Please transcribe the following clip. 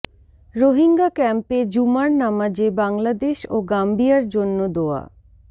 রোহিঙ্গা ক্যাম্পে জুমার নামাজে বাংলাদেশ ও গাম্বিয়ার জন্য দোয়া